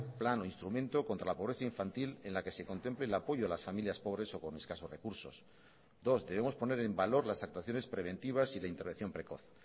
plan o instrumento contra la pobreza infantil en la que se contemple el apoyo a las familias pobres o con escasos recursos dos debemos poner en valor las actuaciones preventivas y la intervención precoz